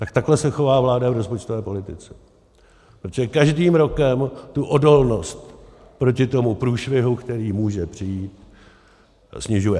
Tak takhle se chová vláda v rozpočtové politice, protože každým rokem tu odolnost proti tomu průšvihu, který může přijít, snižuje.